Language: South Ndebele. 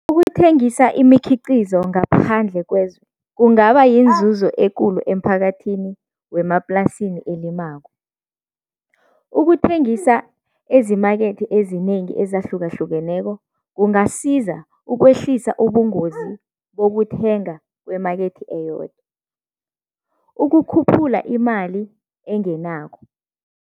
Ukuthengisa imikhiqizo ngaphandle kwezwe kungaba yinzuzo ekulu emphakathini wemaplasini elimako. Ukuthengisa ezimakethe ezinengi ezahlukahlukeneko kungasiza ukwehlisa ubungozi bokuthenga kwemakethe eyodwa ukukhuphula imali engenako.